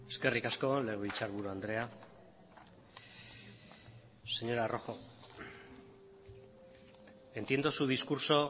eskerrik asko legebiltzarburu andrea señora rojo entiendo su discurso